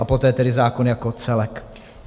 A poté tedy zákon jako celek.